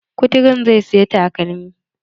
Kuturun zai siya takalmi.